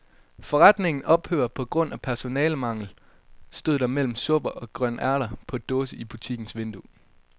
Forretningen ophører på grund af personalemangel, stod der mellem supper og grønærter på dåse i butikkens vindue.